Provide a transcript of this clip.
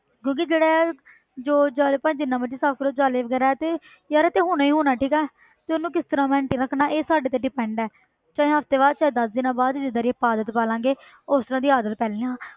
ਕਿਉਂਕਿ ਜਿਹੜੇ ਜੋ ਜਾਲੇ ਭਾਵੇਂ ਜਿੰਨਾ ਮਰਜ਼ੀ ਸਾਫ਼ ਕਰੋ ਜਾਲੇ ਵਗ਼ੈਰਾ ਤੇ ਯਾਰ ਇਹ ਤੇ ਹੋਣਾ ਹੀ ਹੋਣਾ ਠੀਕ ਹੈ ਤੇ ਉਹਨੂੰ ਕਿਸ ਤਰ੍ਹਾਂ maintain ਰੱਖਣਾ ਇਹ ਸਾਡੇ ਤੇ depend ਹੈ ਚਾਹੇ ਹਫ਼ਤੇ ਬਾਅਦ ਚਾਹੇ ਦਸ ਦਿਨਾਂ ਬਾਅਦ ਜਿੱਦਾਂ ਦੀ ਆਪਾਂ ਆਦਤ ਪਾ ਲਵਾਂਗੇ ਉਸ ਤਰ੍ਹਾਂ ਦੀ ਆਦਤ ਪੈਣੀ ਹੈ